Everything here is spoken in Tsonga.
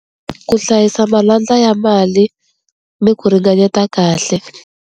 Ku hlayisa malandlwa ya mali ni ku ringanyeta kahle.